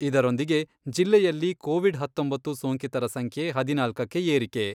ಇದರೊಂದಿಗೆ ಜಿಲ್ಲೆಯಲ್ಲಿ ಕೋವಿಡ್ ಹತ್ತೊಂಬತ್ತು ಸೋಂಕಿತರ ಸಂಖ್ಯೆ ಹದಿನಾಲ್ಕಕ್ಕೆ ಏರಿಕೆ.